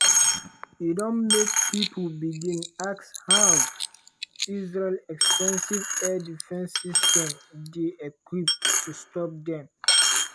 e don make pipo begin ask how israel expensive air defence system dey equipped to stop dem.